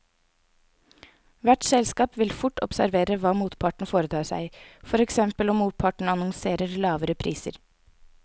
Hvert selskap vil fort observere hva motparten foretar seg, for eksempel om motparten annonserer lavere priser.